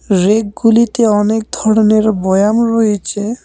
রেকগুলিতে অনেক ধরনের বোয়াম রয়েছে।